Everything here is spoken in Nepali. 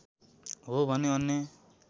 हो भने अन्य